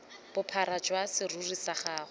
bophara jwa serori sa gago